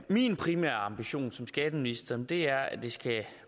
min primære ambition som skatteminister er at det skal